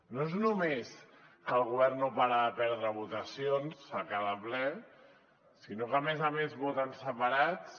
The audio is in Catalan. no és només que el govern no para de perdre votacions a cada ple sinó que a més a més voten separats